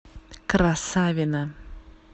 красавино